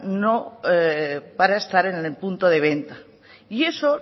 no para estar en el punto de venta y eso